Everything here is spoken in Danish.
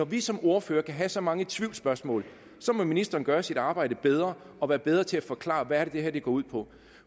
vi som ordførere kan have så mange tvivlsspørgsmål må ministeren gøre sit arbejde bedre og være bedre til at forklare hvad det er det her går ud på